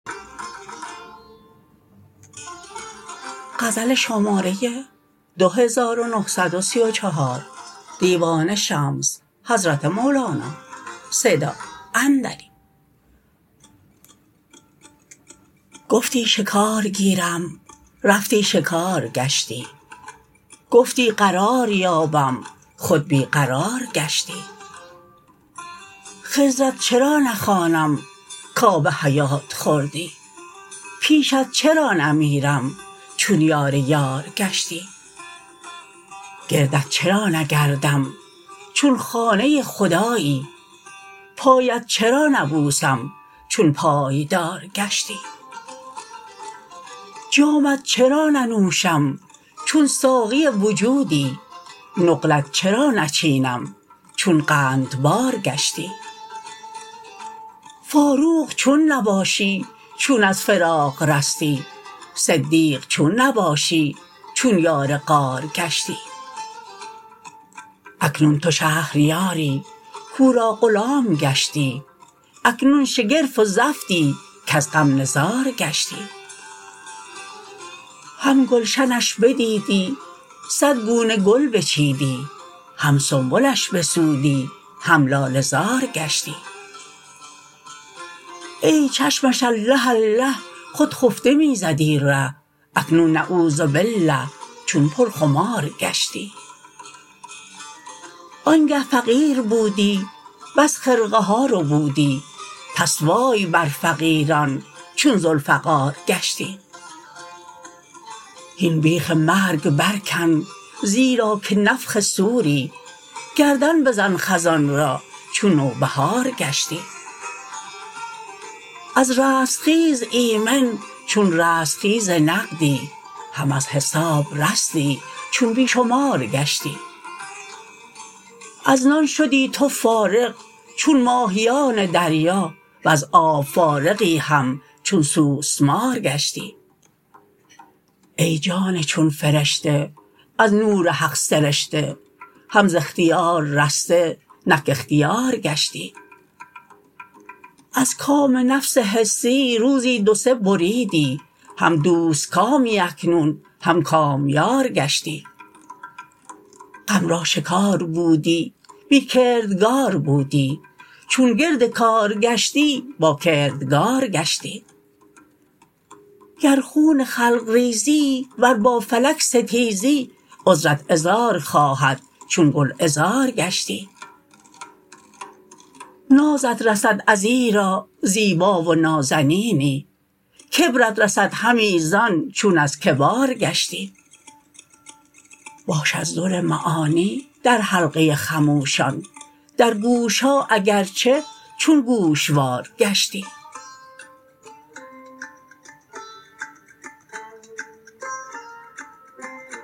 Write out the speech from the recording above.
گفتی شکار گیرم رفتی شکار گشتی گفتی قرار یابم خود بی قرار گشتی خضرت چرا نخوانم کآب حیات خوردی پیشت چرا نمیرم چون یار یار گشتی گردت چرا نگردم چون خانه خدایی پایت چرا نبوسم چون پایدار گشتی جامت چرا ننوشم چون ساقی وجودی نقلت چرا نچینیم چون قندبار گشتی فاروق چون نباشی چون از فراق رستی صدیق چون نباشی چون یار غار گشتی اکنون تو شهریاری کو را غلام گشتی اکنون شگرف و زفتی کز غم نزار گشتی هم گلشنش بدیدی صد گونه گل بچیدی هم سنبلش بسودی هم لاله زار گشتی ای چشمش الله الله خود خفته می زدی ره اکنون نعوذبالله چون پرخمار گشتی آنگه فقیر بودی بس خرقه ها ربودی پس وای بر فقیران چون ذوالفقار گشتی هین بیخ مرگ برکن زیرا که نفخ صوری گردن بزن خزان را چون نوبهار گشتی از رستخیز ایمن چون رستخیز نقدی هم از حساب رستی چون بی شمار گشتی از نان شدی تو فارغ چون ماهیان دریا وز آب فارغی هم چون سوسمار گشتی ای جان چون فرشته از نور حق سرشته هم ز اختیار رسته نک اختیار گشتی از کام نفس حسی روزی دو سه بریدی هم دوست کامی اکنون هم کامیار گشتی غم را شکار بودی بی کردگار بودی چون گرد کار گشتی با کردگار گشتی گر خون خلق ریزی ور با فلک ستیزی عذرت عذار خواهد چون گلعذار گشتی نازت رسد ازیرا زیبا و نازنینی کبرت رسدهمی زان چون از کبار گشتی باش از در معانی در حلقه خموشان در گوش ها اگر چه چون گوشوار گشتی